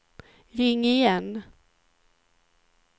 ring igen